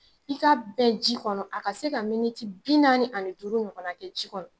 I ka bɛn ji kɔnɔ a ka se ka miniti bi naani ani duuru ɲɔgɔnna kɛ ji kɔnɔ.